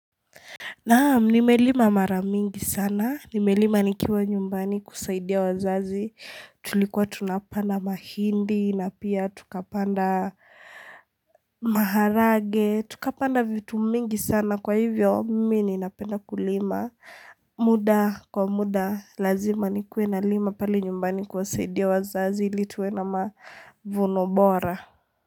Naam, nimelima mara mingi sana, nimelima nikiwa nyumbani kusaidia wazazi, tulikuwa tunapanda mahindi na pia tukapanda maharage, tukapanda vitu mingi sana kwa hivyo mimi ninapenda kulima. Muda kwa muda, lazima nikue nalima pale nyumbani kusaidia wazazi ili tuwe na mavuno bora.